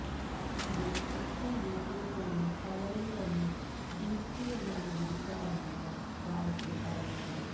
അതെ ഇപ്പോള് വീട്ടില് പോലും പലരും തന്നെ ദീപ്തിയെന്നാണ് വിളിക്കാറെന്നാണ് ഗായത്രി പറയുന്നത്